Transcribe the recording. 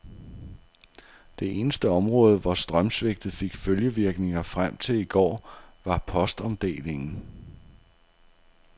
Det eneste område, hvor strømsvigtet fik følgevirkninger frem til i går, var postomdelingen.